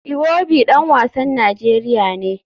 Iwobi dan wasan Najeriya ne.